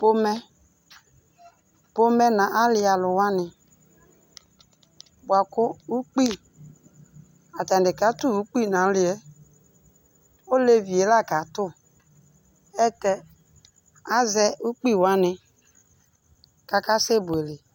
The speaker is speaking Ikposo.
pomɛ pomɛ nʊ alialʊwani buaku ʊkpi atani katʊ ʊkpi na liɛ olevie lakatu ɛtɛ azɛ ʊkpiwani kakasɛ buele